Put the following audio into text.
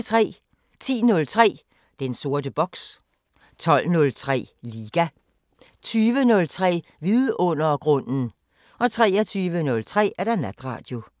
10:03: Den sorte boks 12:03: Liga 20:03: Vidundergrunden 23:03: Natradio